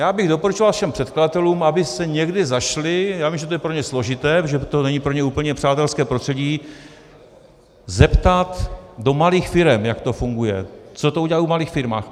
Já bych doporučoval všem předkladatelům, aby se někde zašli - já vím, že to je pro ně složité, protože to není pro ně úplně přátelské prostředí - zeptat do malých firem, jak to funguje, co to udělá v malých firmách.